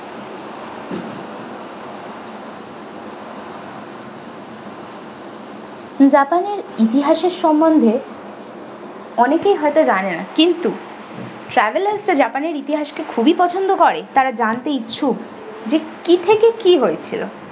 japan এর ইতিহাসের সম্বন্ধে অনেকেই হয়তো জানেনা কিন্তু travelers রা japan এর ইতিহাস কে খুবই পছন্দ করে তারা জানতে ইচ্ছুক যে কি থেকে কি হয়েছিল।